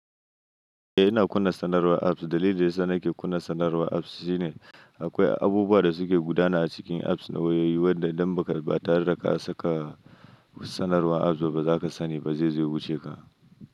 Eh ina kunna sanarwar apps. Dalilin da yana sa nake kunna sanarwar apps shine akwai abubuwa da suke gudana a cikin apps na wayoyi, wanda idan ba ka ba tare da ka saka sanarwar apps ba, ba za ka sani ba zai zo ya wuce ka.